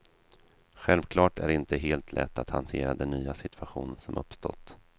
Självklart är det inte helt lätt att hantera den nya situation som uppstått.